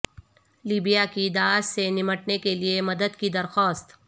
Libya کی داعش سے نمٹنے کے لیے مدد کی درخواست